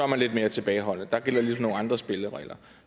man lidt mere tilbageholdende der gælder ligesom nogle andre spilleregler